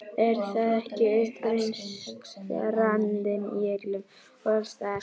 Er það ekki uppreisnarandinn- í öllum og alls staðar.